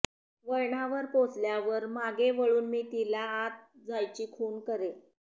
वळणावर पोचल्यावर मागे वळून मी तिला आत जायची खूण करे